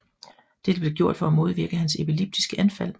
Dette blev gjort for at modvirke hans epileptiske anfald